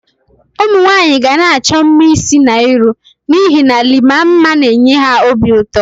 Umunwanyi ga-na acho mma isi na iru n'ihe na Iima mma na-enye ha obi uto.